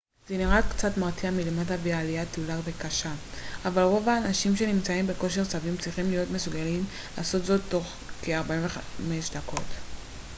זה נראה קצת מרתיע מלמטה וזו עלייה תלולה וקשה אבל רוב האנשים שנמצאים בכושר סביר צריכים להיות מסוגלים לעשות זאת תוך כ-45 דקות